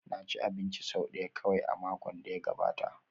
Na ci abinci sau ɗaya kawai a makon da ya gabata